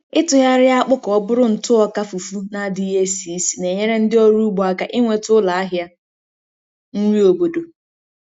Ịtụgharị akpụ ka ọ bụrụ ntụ ọka fufu na-adịghị esi ísì na-enyere ndị ọrụ ugbo aka inweta ụlọ ahịa nri obodo.